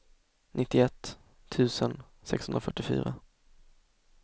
nittioett tusen sexhundrafyrtiofyra